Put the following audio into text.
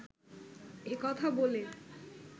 এ কথা বলে